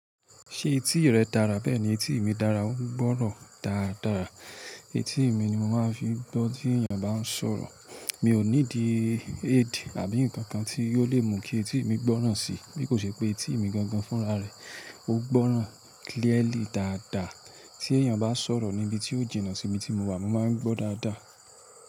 Ṣé etí rẹ dára bẹ́ẹ̀ ni etí mi dára, ó n gbọ́rọ̀ dára dára. Etí mi ni mo máa ń fi gbọ́ tí èèyàn bá ń sọ̀rọ̀. Mi ò need aid àbí nǹkan kan tí yóò lè mú kí etí mi gbọ́ràn sì. Bí kò ṣe pé etí mi gangan fúnra rẹ̀, ó gbọ́ràn clearly dáadaa. Tí èèyàn bá sọ̀rọ̀ níbi tí ó jìnà sí ibi tí mo wà, mo máa ń gbọ́ dáa dáa.